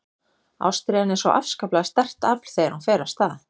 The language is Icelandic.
Ástríðan er svo afskaplega sterkt afl þegar hún fer af stað.